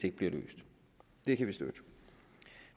ikke bliver løst det kan vi støtte